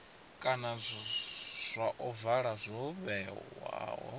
kana zwa ovala zwo vhewaho